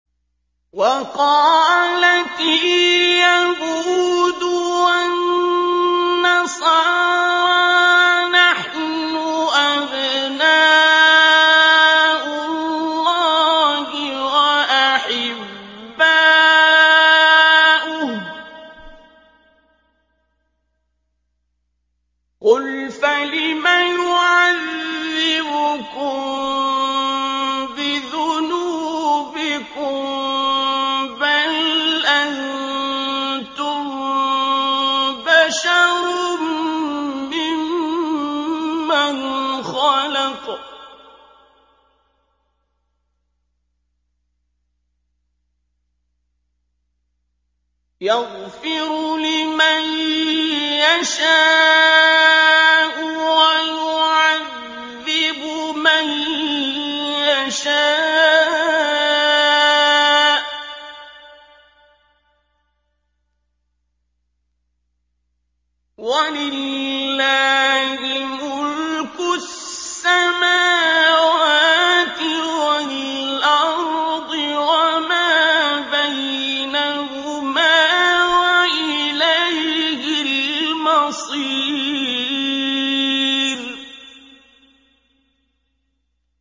وَقَالَتِ الْيَهُودُ وَالنَّصَارَىٰ نَحْنُ أَبْنَاءُ اللَّهِ وَأَحِبَّاؤُهُ ۚ قُلْ فَلِمَ يُعَذِّبُكُم بِذُنُوبِكُم ۖ بَلْ أَنتُم بَشَرٌ مِّمَّنْ خَلَقَ ۚ يَغْفِرُ لِمَن يَشَاءُ وَيُعَذِّبُ مَن يَشَاءُ ۚ وَلِلَّهِ مُلْكُ السَّمَاوَاتِ وَالْأَرْضِ وَمَا بَيْنَهُمَا ۖ وَإِلَيْهِ الْمَصِيرُ